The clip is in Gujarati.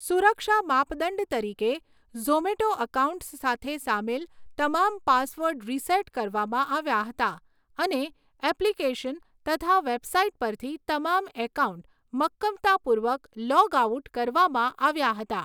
સુરક્ષા માપદંડ તરીકે, ઝોમેટો એકાઉન્ટ્સ સાથે સામેલ તમામ પાસવર્ડ રીસેટ કરવામાં આવ્યા હતા, અને એપ્લીકેશન તથા વેબસાઇટ પરથી તમામ એકાઉન્ટ મક્કમતાપૂર્વક લોગ આઉટ કરવામાં આવ્યા હતા.